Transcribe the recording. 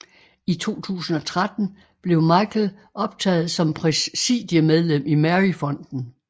I 2013 blev Michael optaget som Præsidiemedlem i Mary Fonden